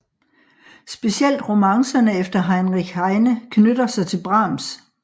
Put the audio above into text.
Specielt romancerne efter Heinrich Heine knytter sig til Brahms